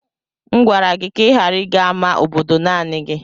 M gwara gị ka ị ghara ịga ama obodo naanị gi.